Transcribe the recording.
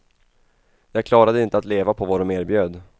Jag klarade inte att leva på vad de erbjöd.